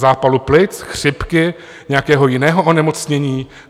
Zápalu plic, chřipky nějakého jiného onemocnění?